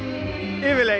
yfirleitt